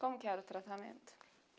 Como que era o tratamento?